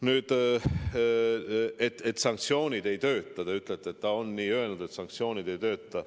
Nüüd te ütlete, et ta on nii öelnud, et sanktsioonid ei tööta.